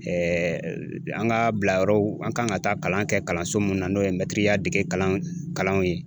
an ka bilayɔrɔw an kan ka taa kalan kɛ kalanso mun na n'o ye ya dege kalan kalanw ye